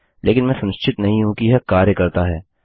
लेकिन मैं सुनिश्चित नहीं हूँ कि यह कार्य करता है